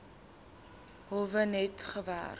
howe net gewerk